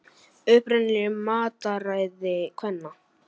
Uppruninn í mataræði kvenna